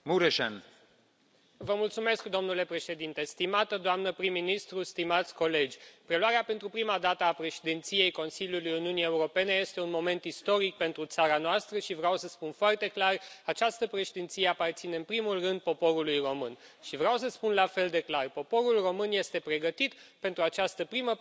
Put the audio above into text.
Domnule președinte, stimată doamnă prim ministru, stimați colegi, preluarea pentru prima dată a Președinției Consiliului Uniunii Europene este un moment istoric pentru țara noastră și vreau să spun foarte clar această Președinție aparține, în primul rând, poporului român. Vreau să spun la fel de clar poporul român este pregătit pentru această primă Președinție a Uniunii Europene.